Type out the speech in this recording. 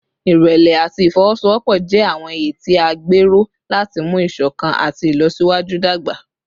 Ìrẹ̀lẹ̀ àti ìfọwọ́sowọ́pọ̀ jẹ́ àwọn iye tí a gbé ró láti mú ìṣọ̀kan àti ìlọsíwájú dàgbà